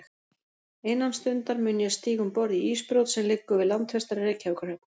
Innan stundar mun ég stíga um borð í ísbrjót, sem liggur við landfestar í Reykjavíkurhöfn.